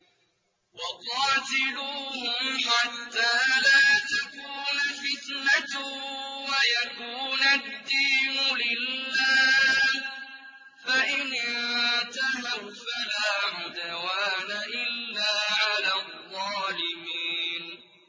وَقَاتِلُوهُمْ حَتَّىٰ لَا تَكُونَ فِتْنَةٌ وَيَكُونَ الدِّينُ لِلَّهِ ۖ فَإِنِ انتَهَوْا فَلَا عُدْوَانَ إِلَّا عَلَى الظَّالِمِينَ